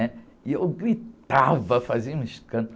né? E eu gritava, fazia um escândalo.